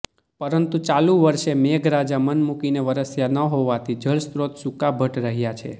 પરંતુ ચાલુ વર્ષે મેઘરાજા મન મૂકીને વરસ્યા ન હોવાથી જળસ્ત્રોત સૂકાભટ રહ્યા છે